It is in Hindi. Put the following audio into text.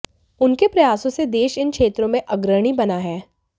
उनके प्रयासों से देश इन क्षेत्रों में अग्रणी बना है